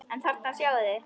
En þarna sjáið þið!